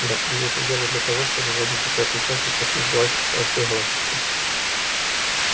да они это делают для того чтобы в один прекрасный час захватить власть во всей галактике